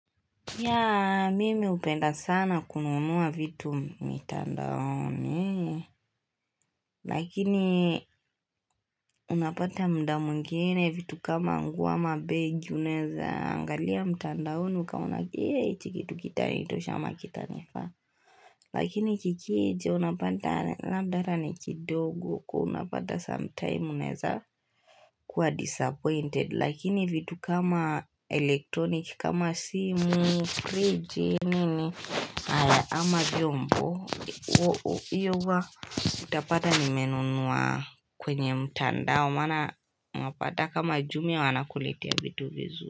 Ya, mimi upenda sana kununua vitu mitandaoni, lakini unapata mda mwingine vitu kama nguo ama begi unaeza, angalia mitandaoni, ukaona kia hichi kitu kitanitosha ama kitanifaa. Lakini kikije unapata labda hata ni kidogo kwa una pata sometime uneza kuwa disappointed Lakini vitu kama elektronik kama simu friji nini ama jombo Uwa utapata nimenunua kwenye mtandao maana mapata kama jumia wanakulitea vitu vizu.